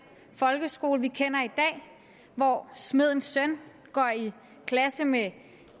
folkeskole vi kender i dag hvor smedens søn går i klasse med